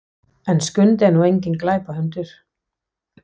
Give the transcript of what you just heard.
En Skundi er nú enginn glæpahundur.